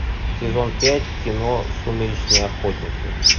сезон пять кино сумеречные охотники